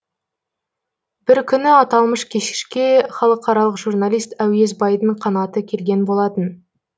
бір күні аталмыш кешке халықаралық журналист әуесбайдың қанаты келген болатын